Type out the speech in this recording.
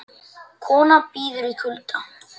Kona bíður í kulda